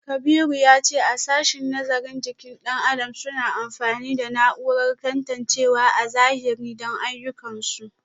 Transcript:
Kabiru ya ce a sashen nazarin jikin dan adam suna amfani da na’urar tantancewa a zahiri don ayyukansu